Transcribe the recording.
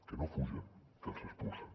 que no fugen que els expulsen